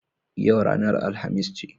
Yau ranar Alhamis ce.